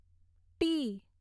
T